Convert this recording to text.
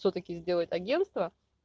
всё таки сделать агентство